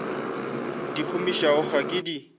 di gomiša ga ke di